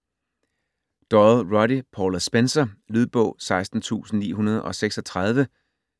Doyle, Roddy: Paula Spencer Lydbog 16936